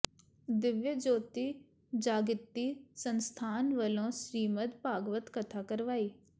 ਦਿਵਯ ਜਯੋਤੀ ਜਾਗਿ੍ਤੀ ਸੰਸਥਾਨ ਵਲੋਂ ਸ੍ਰੀਮਦ ਭਾਗਵਤ ਕਥਾ ਕਰਵਾਈ